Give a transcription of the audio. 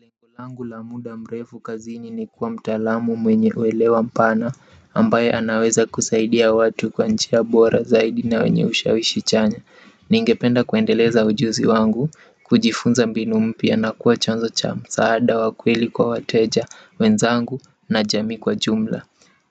Lengo langu la muda mrefu kazini ni kuwa mtaalamu mwenye uelewa mpana ambaye anaweza kusaidia watu kwa njia bora zaidi na wenye usha wishichanya ningependa kuendeleza ujuzi wangu kujifunza mbinu mpya na kuwa chanzo cha msaada wakweli kwa wateja wenzangu na jamii kwa jumla